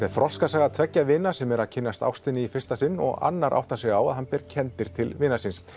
er þroskasaga tveggja vina sem eru að kynnast ástinni í fyrsta sinn og annar áttar sig á því að hann ber kenndir til vinar síns